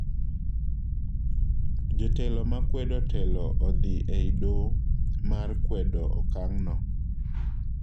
Jotelo makwedo telo odhi ei doo mar kwedo okang'no.